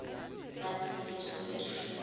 latin religious phrases